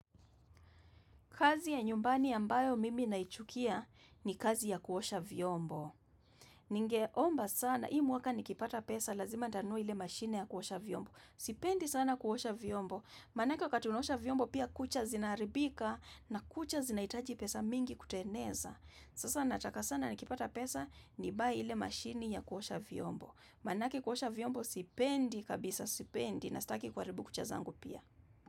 Kazi ya nyumbani ambayo mimi naichukia ni kazi ya kuosha vyombo. Ningeomba sana, hii mwaka nikipata pesa, lazima nitanunua ile mashine ya kuosha vyombo. Sipendi sana kuosha vyombo. Manake wakati unaosha vyombo pia kucha zinaribika na kucha zinahitaji pesa mingi kutengeza. Sasa nataka sana nikipata pesa, nibuy ile mashine ya kuosha vyombo. Manake kuosha vyombo sipendi kabisa, sipendi na staki kuharibu kucha zangu pia.